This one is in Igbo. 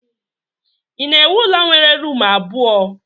Ị na-ewu ụlọ nwere rumụ abụọ?